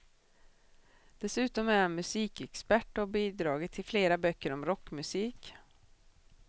Dessutom är han musikexpert och har bidragit till flera böcker om rockmusik.